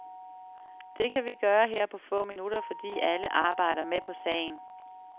Det kan vi gøre her på få minutter, fordi alle arbejder med på sagen.